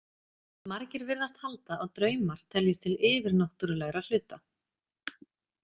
Margir virðast halda að draumar teljist til yfirnáttúrlegra hluta.